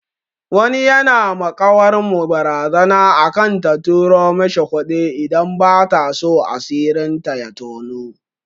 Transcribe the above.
Wani yana ma ƙawar mu barazana akan ta turo mishi kuɗi idan bataso asirin ta ya toni.